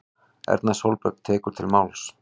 Erna Sólberg tekur til máls